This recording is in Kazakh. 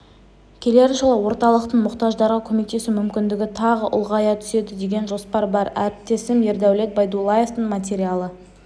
келер жылы орталықтың мұқтаждарға көмектесу мүмкіндігі тағы ұлғая түседі деген жоспар бар әріптесім ердәулет байдуллаевтың материалы